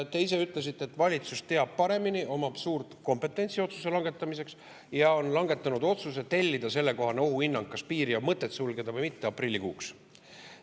Te ise ütlesite, et valitsus teab paremini, omab suurt kompetentsi otsuse langetamiseks ja on langetanud otsuse tellida sellekohane ohuhinnang, kas piiri on mõtet sulgeda või mitte, aprillikuuks.